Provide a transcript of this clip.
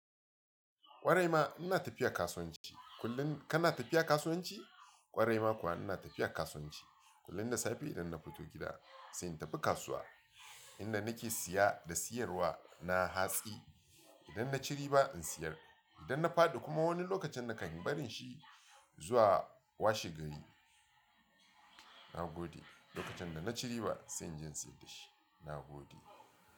Kwarai ma ina tafiya kasuwanci kullum, kana tafiya kasuwanci ƙwarai ma kuwa ina tafiya kasuwanci. Kullum da safe idan na fito gida sai in tafi kasuwa inda nake siya da siyarwa na hatsi. Idan na ci riba in siyar, idan na faɗi kuma wani lokacin na kai barin shi zuwa washe gari. Na gode. Lokacin da na ci riba sai in je in saida shi. Na gode.